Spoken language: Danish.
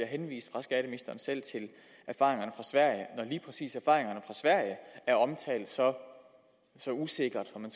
henvist fra skatteministeren selv til erfaringerne fra sverige præcis erfaringerne fra sverige er omtalt så usikkert om